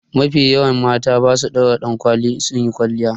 Mafi yawan mata ba su daura dankwali in sunyi kwalliya.